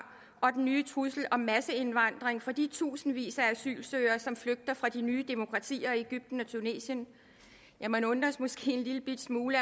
og den nye trussel om masseindvandring fra de tusindvis af asylsøgere som flygter fra de nye demokratier i egypten og tunesien ja man undres måske en lillebitte smule